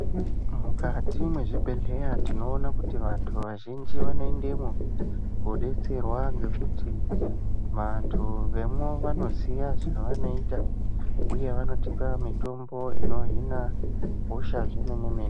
Mukati mwezvibhedhleya tinoona kuti vantu vazhinji vanoendemwo kodetserwa ngekuti vantu vemwo vanoziya zvavanoita uye vanotipa mitombo inohina hosha zvemene mene.